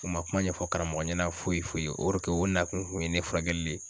U ma kuma ɲɛfɔ karamɔgɔ ɲɛna foyi foyi orike o na kun kun ye ne furakɛli le ye